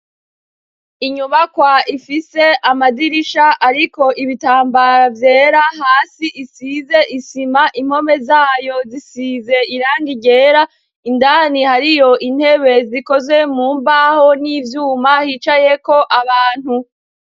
Inyubakwa ifise amadirisha ariko ibitambara vyera hasi isize isima inpome zayo zisize irangi ryera indani hariyo intebe zikoze mu mbaho n'ivyuma hicayeko abantu.